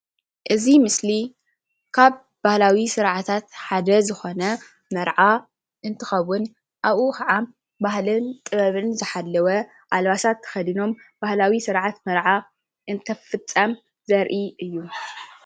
እዚ ምስሊ ካብ ባህላዊ ስርዓታት ሓደ ዝኾነ መርዓ እንትኸውን አብኡ ከዓ ባህልን ጥበብን ዝሓለወ አልባሳት ተከዲኖም ባህላዊ ስርዓት መርዓ እንትፍፀም ዘርኢ እዩ።